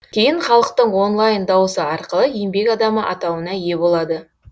кейін халықтың онлайн дауысы арқылы еңбек адамы атауына ие болады